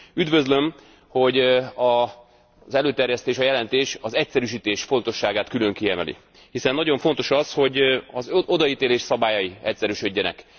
Üdvözlöm, hogy az előterjesztés, a jelentés az egyszerűsítés fontosságát külön kiemeli, hiszen nagyon fontos az, hogy az odaítélés szabályai egyszerűsödjenek.